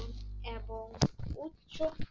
ছো